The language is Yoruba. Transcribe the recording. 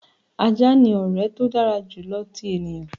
"Ajá ni ọrẹ to dara julọ ti eniyan."